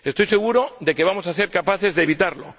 Estoy seguro de que vamos a ser capaces de evitarlo.